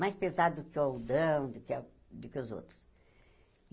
Mais pesado que o algodão, do que a do que os outros.